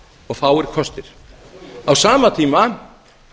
og fáir kostir á sama tíma